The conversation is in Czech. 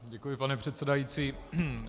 Děkuji, pane předsedající.